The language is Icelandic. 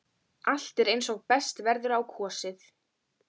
Allt er eins og best verður á kosið.